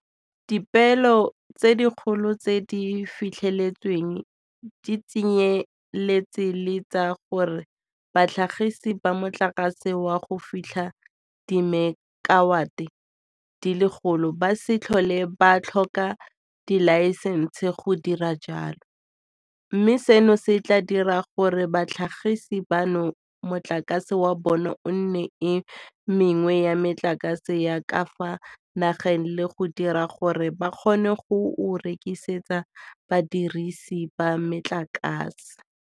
Dipeelo tse dikgolo tse di fitlheletsweng di tsenyeletsa le tsa gore batlhagisi ba motlakase wa go fitlha dimekawate di le lekgolo ba se tlhole ba tlhoka dilaesense go dira jalo, mme seno se tla dira gore batlhagisi bano motlakase wa bona o nne e mengwe ya metlakase ya ka fa nageng le go dira gore ba kgone go o rekisetsa badirise ba motlakase.